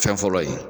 Fɛn fɔlɔ ye